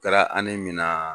O kɛra min naaa.